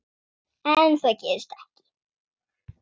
En það gerist ekki.